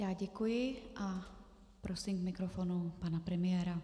Já děkuji a prosím k mikrofonu pana premiéra.